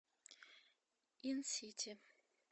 инсити